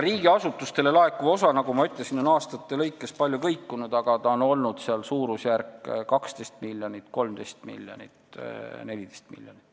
Riigiasutustele laekuv osa, nagu ma ütlesin, on aastate lõikes palju kõikunud, aga see on olnud suurusjärgus 12, 13 või 14 miljonit.